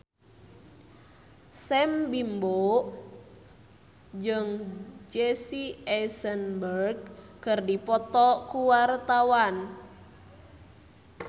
Sam Bimbo jeung Jesse Eisenberg keur dipoto ku wartawan